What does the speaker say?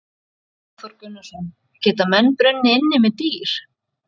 Hafþór Gunnarsson: Geta menn brunnið inni með dýr?